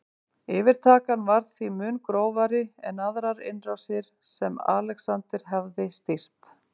Yfirtakan var því mun grófari en aðrar innrásir sem Alexander hafði stýrt.